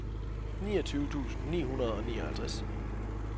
niogtyve tusind ni hundrede og nioghalvtreds